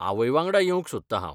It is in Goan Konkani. आवयवांगडा येवंक सोदता हांव.